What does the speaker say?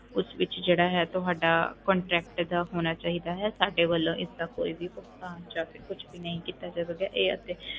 ਉਸ ਵਿੱਚ ਜਿਹੜਾ ਹੈ ਤੁਹਾਡਾ contact ਦਾ ਹੋਣਾ ਚਾਹੀਦਾ ਹੈ, ਸਾਡੇ ਵੱਲੋਂ ਇਸਦਾ ਕੋਈ ਵੀ ਭੁਗਤਾਨ ਜਾਂ ਫਿਰ ਕੁਛ ਵੀ ਨਹੀਂ ਕੀਤਾ ਜਾਵੇਗਾ ਇਹ ਅਤੇ